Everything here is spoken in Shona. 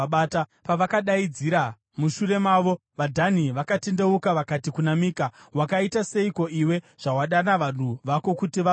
Pavakadaidzira mushure mavo, vaDhani vakatendeuka vakati kuna Mika, “Wakaita seiko iwe, zvawadana vanhu vako kuti vazorwa?”